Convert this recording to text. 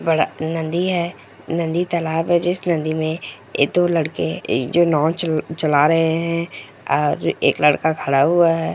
बड़ा नदी है नदी-तालाब है जिस नदी में ऐ दो लड़के जो नाव चला रहे हैं और एक लड़का खडा हुआ है।